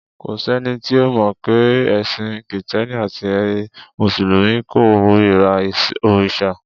Kò sẹ́ni tí ò mọ̀ pé ẹ̀sìn Kìtẹ́ẹ́nì àti ti Mùsùlùmí kórira òrìṣà.